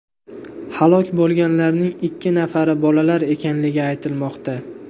Halok bo‘lganlarning ikki nafari bolalar ekanligi aytilmoqda.